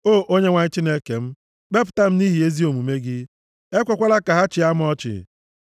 O Onyenwe anyị Chineke m, kpepụta m nʼihi ezi omume gị; ekwekwala ka ha chịa m ọchị.